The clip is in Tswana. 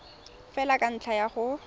fela ka ntlha ya go